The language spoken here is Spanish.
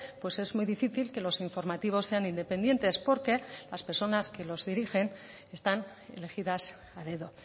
pues es muy difícil que los informativos sean independientes porque las personas que los dirigen están elegidas a dedo